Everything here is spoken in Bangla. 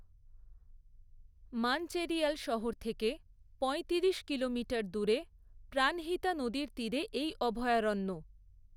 মানচেরিয়াল শহর থেকে পঁয়তিরিশ কিলোমিটার দূরে প্রাণহিতা নদীর তীরে এই অভয়ারণ্য।